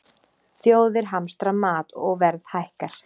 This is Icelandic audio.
Þjóðir hamstra mat og verð hækkar